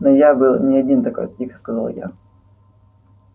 но я был не один такой тихо сказал я